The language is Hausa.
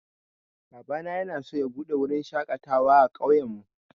Babana yanaso ya buɗe wurin shaƙatawa a ƙauyen mu